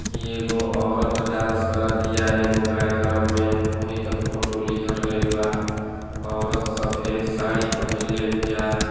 इ एगो औरत डांस करतीया। एगो कार्यक्रम में वही का फोटो लिहल गईल बा। औरत सफेद साड़ी पहीनले बिया।